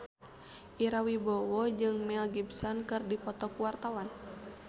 Ira Wibowo jeung Mel Gibson keur dipoto ku wartawan